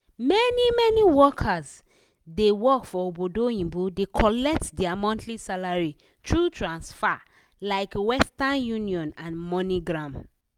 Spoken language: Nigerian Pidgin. many-many workers wey dey work for obodo oyinbo dey collect dia monthly salary thru transfa- like western union and moneygram.